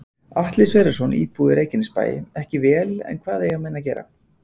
Atli Sverrisson, íbúi í Reykjanesbæ: Ekki vel en hvað eiga menn að gera?